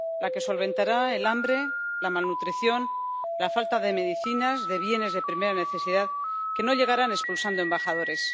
la que solventará el hambre, la malnutrición, la falta de medicinas, de bienes de primera necesidad que no llegarán expulsando embajadores.